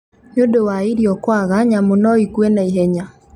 Nĩ undũ wa irĩo kũũaga nyamũ no ĩkue o naĩhenya.